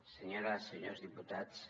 senyores senyors diputats